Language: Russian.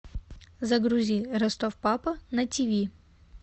загрузи ростов папа на тиви